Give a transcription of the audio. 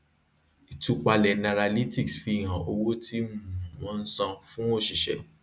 ìtúpalẹ nairalytics fi hàn owó tí um wọn san fún òṣìṣẹ